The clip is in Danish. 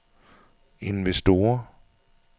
investorer